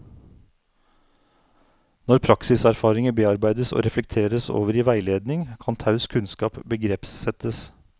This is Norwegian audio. Når praksiserfaringer bearbeides og reflekteres over i veiledning, kan taus kunnskap begrepssettes.